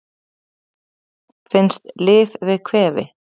Finnst lyf við kvefi